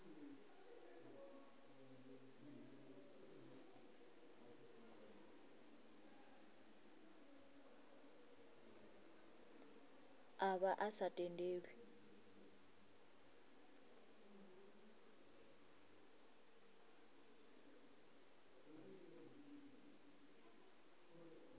a vha a sa tendelwi